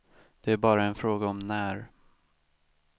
Det är bara en fråga om när.